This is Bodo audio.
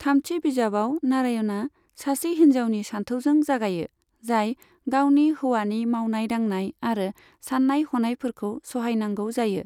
थामथि बिजाबाव नारायणआ सासे हिन्जावनि सानथौजों जागायो, जाय गावनि हौवानि मावनाय दांनाय आरो साननाय हनायफोरखौ सहायनांगौ जायो।